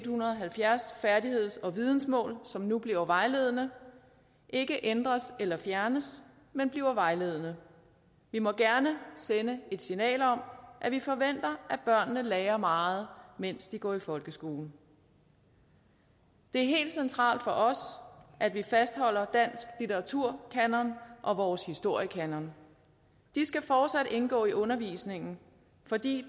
hundrede og halvfjerds færdigheds og vidensmål som nu bliver vejledende ikke ændres eller fjernes men bliver vejledende vi må gerne sende et signal om at vi forventer at børnene lærer meget mens de går i folkeskolen det er helt centralt for os at vi fastholder dansk litteraturkanon og vores historiekanon de skal fortsat indgå i undervisningen fordi